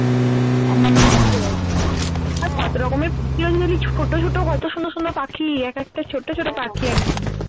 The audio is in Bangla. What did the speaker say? আর কতরকমের ছোট ছোট কত সুন্দর সুন্দর পাখি এক একটা ছোট ছোট পাখি একদম